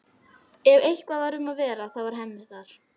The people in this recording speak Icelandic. Ef eitthvað var um að vera þá var Hemmi þar.